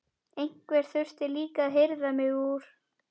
Einhver þurfti líka að hirða mig úr